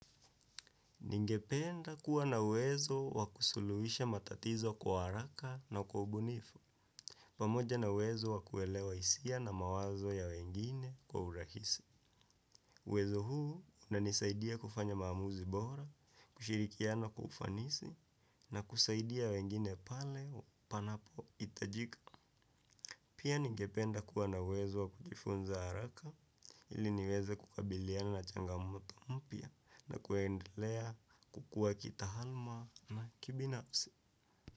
Ningependa kuwa na uwezo wa kusuluhisha matatizo kwa haraka na kwa ubunifu, pamoja na uwezo wa kuelewa hisia na mawazo ya wengine kwa urahisi. Uwezo huu unanisaidia kufanya maamuzi bora, kushirikiana kwa ufanisi, na kusaidia wengine pale panapohitajika. Pia nigependa kuwa na uwezo wa kujifunza haraka ili niweze kukabiliana na changamoto mpya na kuendelea kukuwa kitaaluma na kibinafsi.